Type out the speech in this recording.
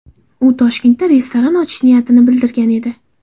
U Toshkentda restoran ochish niyatini bildirgan edi .